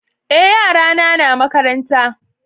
é yara na na makaranta